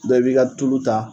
i b'i ka tulu ta